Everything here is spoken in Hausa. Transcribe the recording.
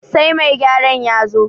sai mai gyaran ya zo